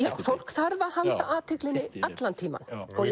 fólk þarf að halda athygli allan tímann